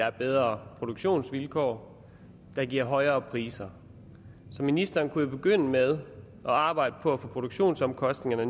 er bedre produktionsvilkår der giver højere priser så ministeren kunne jo begynde med at arbejde på at få produktionsomkostningerne